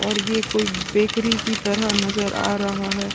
और ये कोई बेकरी की तरह नज़र आ रहे है।